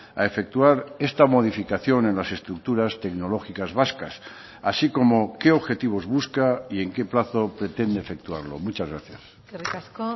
a efectuar esta modificación en las estructuras tecnológicas vascas así como qué objetivos busca y en qué plazo pretende efectuarlo muchas gracias eskerrik asko